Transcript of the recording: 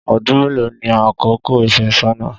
Ọdún mélòó ni àkókò ìfẹ́sọ́nà?